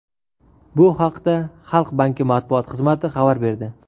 Bu haqda Xalq banki matbuot xizmati xabar berdi .